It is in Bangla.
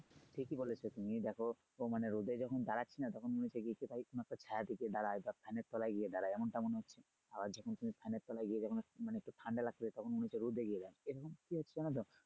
ঠিকই বলেছো তুমি দেখো রোদে তো মানে রোদে দাড়াচ্ছি না তখন গিয়ে একটু কিছুটা ছায়ার দিকে দাঁড়াই তখন বা fan এর তলায় গিয়ে দাড়াই তলায় গিয়ে দাঁড়াই এমন টা মনে হচ্ছে আবার যখন তুমি ফ্যানের তলায় গিয়ে যখন মানে একটু ঠান্ডা লাগছে তখন মনে হচ্ছে রোদে গিয়ে দাঁড়াই এরকম কি হচ্ছে না দেখো